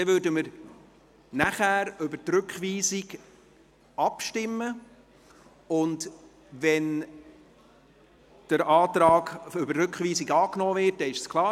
Nachher würden wir über die Rückweisung abstimmen, und wenn der Rückweisungsantrag angenommen wird, ist es klar.